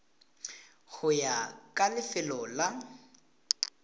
go ya ka lefelo la